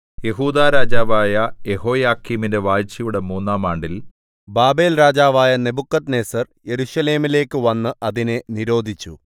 യെഹൂദാ രാജാവായ യെഹോയാക്കീമിന്റെ വാഴ്ചയുടെ മൂന്നാം ആണ്ടിൽ ബാബേൽരാജാവായ നെബൂഖദ്നേസർ യെരൂശലേമിലേക്ക് വന്ന് അതിനെ നിരോധിച്ചു